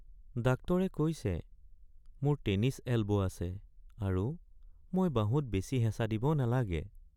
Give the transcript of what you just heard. ডাক্তৰে কৈছে মোৰ টেনিছ এলব' আছে আৰু মই বাহুত বেছি হেঁচা দিব নালাগে।